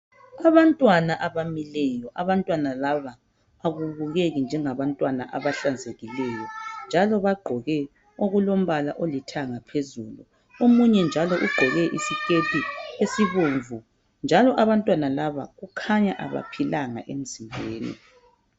Abantwana abamileyo. Abantwana laba akubukeki njengabantwana abahlanzekileyo, njalo bagqoke okulombala olithanga phezulu. Omunye njalo ugqoke isikhethi esibomvu, njalo abantwana laba kukhanya abaphilanga emzimbeni.